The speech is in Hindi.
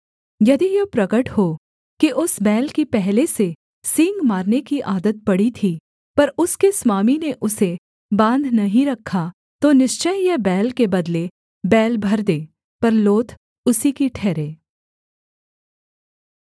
यदि यह प्रगट हो कि उस बैल की पहले से सींग मारने की आदत पड़ी थी पर उसके स्वामी ने उसे बाँध नहीं रखा तो निश्चय यह बैल के बदले बैल भर दे पर लोथ उसी की ठहरे